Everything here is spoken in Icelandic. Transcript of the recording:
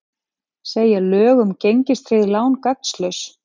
Segja lög um gengistryggð lán gagnslaus